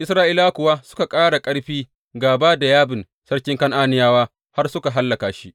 Isra’ilawa kuwa suka ƙara ƙarfi gāba da Yabin, sarkin Kan’aniyawa, har suka hallaka shi.